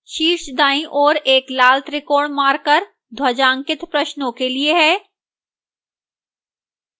शीर्षदाईं ओर एक लाल त्रिकोण marker ध्वजांकित प्रश्नों के लिए है